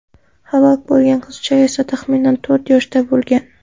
Halok bo‘lgan qizcha esa taxminan to‘rt yoshda bo‘lgan.